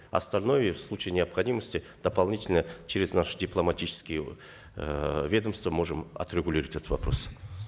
остальное в случае необходимости дополнительно через наши дипломатические эээ ведомства можем отрегулировать этот вопрос